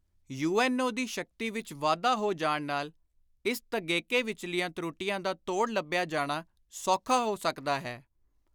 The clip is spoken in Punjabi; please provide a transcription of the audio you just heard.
ਯੁ.ਐਨ.ਓ. ਦੀ ਸ਼ਕਤੀ ਵਿਚ ਵਾਧਾ ਹੋ ਜਾਣ ਨਾਲ ਇਸ ਤਗੇਕੇ ਵਿਚਲੀਆਂ ਤਰੁੱਟੀਆਂ ਦਾ ਤੋੜ ਲੱਭਿਆ ਜਾਣਾ ਸੌਖਾ ਹੋ ਸਕਦਾ ਹੈ।